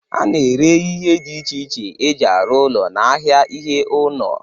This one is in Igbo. A na-ere ihe dị iche iche e ji arụ ụlọ n'ahịa ihe ụnọ.